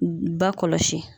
Ba kɔlɔsi.